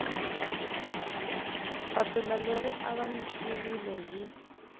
papila leri ri avanyisiwile hi